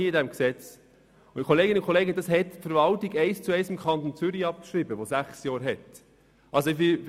Diese Regelung hat die Verwaltung eins zu eins dem Kanton Zürich abgeschrieben, der sechsjährige Finanzierungsperioden hat.